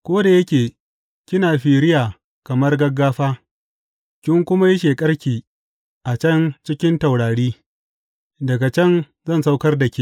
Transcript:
Ko da yake kina firiya kamar gaggafa kin kuma yi sheƙarki a can cikin taurari, daga can zan saukar da ke,